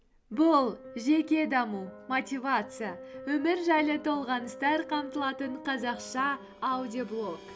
бұл жеке даму мотивация өмір жайлы толғаныстар қамтылатын қазақша аудиоблог